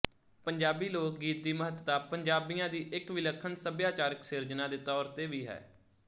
ਪੰਜਾਬੀ ਲੋਕਗੀਤ ਦੀ ਮਹੱਤਤਾ ਪੰਜਾਬੀਆਂ ਦੀ ਇੱਕ ਵਿਲੱਖਣ ਸੱਭਿਆਚਾਰਕ ਸਿਰਜਣਾ ਦੇ ਤੌਰ ਤੇ ਵੀ ਹੈ